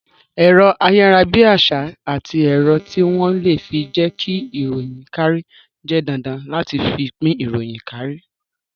Ẹ̀rọ ayarabiasa àti ẹ̀rọ tí wón le fi jẹ ki ìròyìn kárí jẹ́ dandan láti fi pín ìròyìn kárí